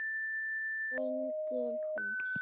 Engin hús.